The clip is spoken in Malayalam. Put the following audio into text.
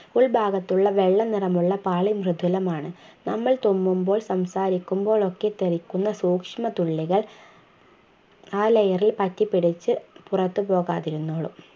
ഉൾഭാഗത്തുള്ള വെള്ള നിറമുള്ള പാളി മൃദുലമാണ് നമ്മൾ തുമ്മുമ്പോൾ സംസാരിക്കുമ്പോൾ ഒക്കെ തെറിക്കുന്ന സൂക്ഷ്മതുള്ളികൾ ആ layer ൽ പറ്റിപ്പിടിച്ച് പുറത്തു പോകാതിരുന്നോളും